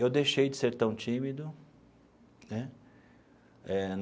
Eu deixei de ser tão tímido né eh.